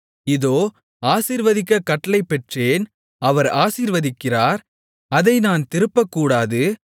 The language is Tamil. இதோ ஆசீர்வதிக்கக் கட்டளை பெற்றேன் அவர் ஆசீர்வதிக்கிறார் அதை நான் திருப்பக்கூடாது